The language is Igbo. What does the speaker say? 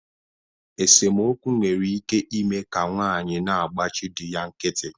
Esomokwu nwere ike ime ka nwaanyị na-agbachi di ya nkịtị